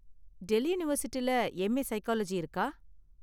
டெல்லி யூனிவர்சிட்டில M. A. Psychology இருக்கா?